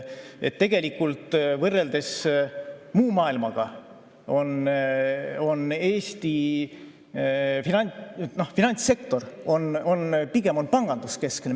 Võrreldes muu maailmaga on Eesti finantssektor pigem panganduskeskne.